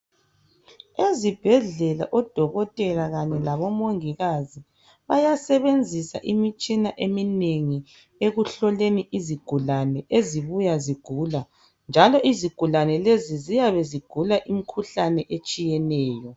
Ezibhedlela oDokotela kanye labo Mongikazi bayasebenzisa imitshina eminengi ekuhloleni izigulane ezibuya zigula njalo izigulane lezi ziyabe zigula imikhuhlane etshiyeneyo.